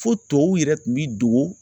Fo tɔw yɛrɛ kun bi dogo.